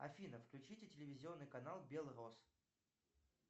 афина включите телевизионный канал белрос